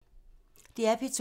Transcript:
DR P2